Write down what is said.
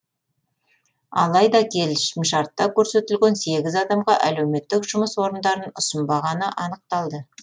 алайда келісімшартта көрсетілген сегіз адамға әлеуметтік жұмыс орындарын ұсынбағаны анықталды